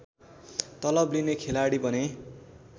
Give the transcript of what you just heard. तलब लिने खेलाडी बने